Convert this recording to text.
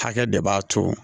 Hakɛ de b'a to